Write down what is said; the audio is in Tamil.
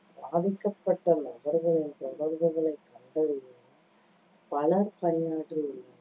பாதிக்கப்பட்ட நபர்களின் தொடர்புகளை கண்டறியவும் பலர் பணியாற்றியுள்ளனர்